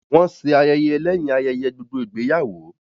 Wọ́n ṣé ayẹyẹ lẹ́yìn ayẹyẹ gbogbo ìgbéyàwó